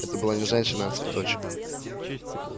это была не женщина а цветочек